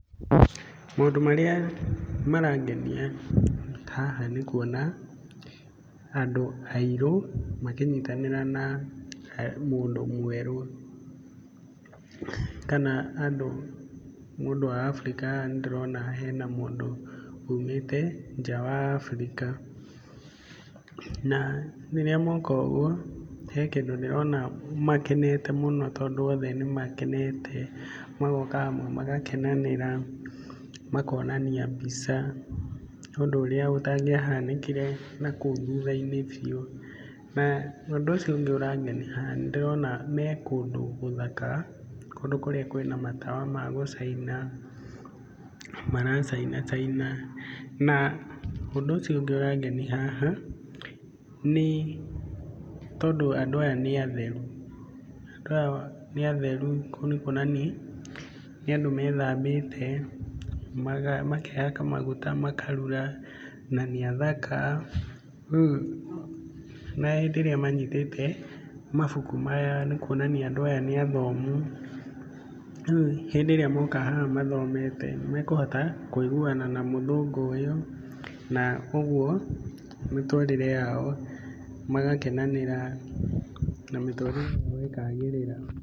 Maũndũ marĩa marangenia haha nĩ kuona andũ airũ makĩnyitanĩra na mũndũ mwerũ kana mũndũ wa Africa haha nĩ ndĩrona hena mũndũ umĩte nja wa Africa na rĩrĩa moka ũguo, he kĩndũ ndĩrona makenete mũno tondũ othe nĩ makenete, magoka hamwe magakenanĩra makonania mbica ũndũ ũrĩa ũtangĩahanĩkire na kũu thutha-inĩ biũ na ũndũ ũcio ũngĩ ũrangenia haha nĩ ndĩrona me kũndũ gũthaka kũndũ kũrĩa kwĩna matawa ma gũcaina maracaina caina na ũndũ ũcio ũngĩ ũrangenia haha nĩ tondũ andũ aya nĩ atheru. Andũ aya nĩ atheru ũguo nĩ kuonania nĩ andũ methambĩte makehaka maguta makarura na nĩ athaka , rĩu na hĩndĩ ĩrĩa manyitĩte mabuku maya nĩ kuonania andũ aya nĩ athomu. Rĩu hĩndĩ ĩrĩa moka haha mathomete, nĩ mekũhota kũiguana na mũthũngũ ũyũ na ũguo mĩtũrĩre yao magakenanĩra na mĩtũrĩre yao ĩkagĩrĩra.